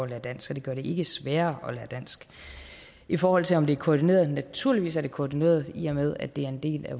lære dansk så det gør det ikke sværere at lære dansk i forhold til om det er koordineret naturligvis er det koordineret i og med at det er en del af